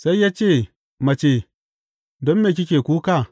Sai ya ce, Mace, don me kike kuka?